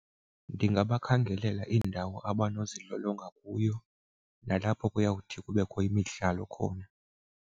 Ndingabakhangelela iindawo abangazilolonga kuyo nalapho kuyawuthi kubekho imidlalo khona.